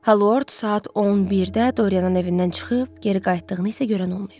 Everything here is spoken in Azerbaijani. Halord saat 11-də Doryanın evindən çıxıb geri qayıtdığını isə görən olmayıb.